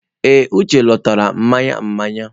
Ee, Uche lọtara mmanya mmanya.